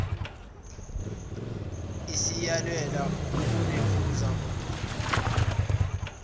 isiyalelwe ukunephuza umgulukudu